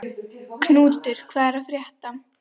Knútur, hvað er að frétta?